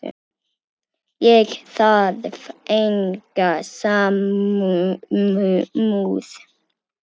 Ég þarf enga samúð.